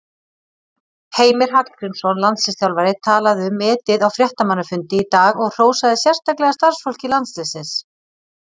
Heimir Hallgrímsson, landsliðsþjálfari, talaði um metið á fréttamannafundi í dag og hrósaði sérstaklega starfsfólki landsliðsins.